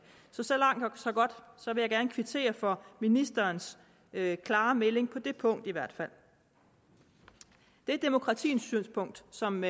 så langt så godt så jeg vil gerne kvittere for ministerens klare melding på det punkt i hvert fald det demokratisynspunkt som